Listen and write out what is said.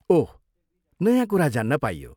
ओह! नयाँ कुरा जान्न पाइयो।